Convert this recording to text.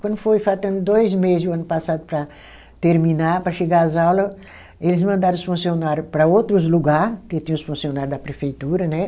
Quando foi faltando dois meses o ano passado para terminar, para chegar às aulas, eles mandaram os funcionário para outros lugares, que tinha os funcionário da prefeitura, né?